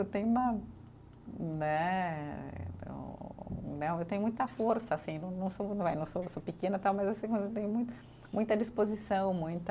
Eu tenho uma né, eu né, eu tenho muita força assim, não não sou eh, sou pequena tal, mas assim mas eu tenho muita, muita disposição, muita